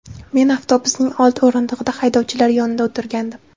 Men avtobusning old o‘rindig‘ida haydovchilar yonida o‘tirgandim.